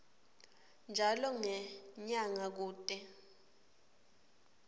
njalo ngenyanga kute